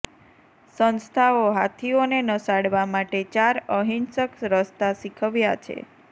સંસ્થાઓ હાથીઓને નસાડવા માટે ચાર અહિંસક રસ્તા શીખવ્યા છે